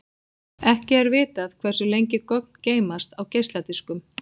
Ekki er vitað hversu lengi gögn geymast á geisladiskum.